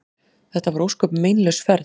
Þetta var ósköp meinlaus ferð.